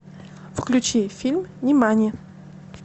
включи фильм нимани